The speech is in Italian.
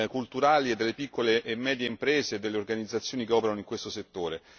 culturali e delle piccole e medie imprese e delle organizzazioni che operano in questo settore.